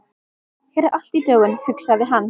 Hér er allt í dögun, hugsaði hann.